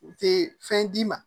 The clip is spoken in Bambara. U tɛ fɛn d'i ma